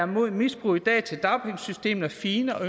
mod misbrug af dagpengesystemet er fine og